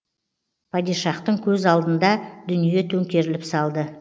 падишахтың көз алдында дүние төңкеріліп салды